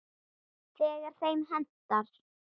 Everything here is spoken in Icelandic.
Þegar þeim hentar.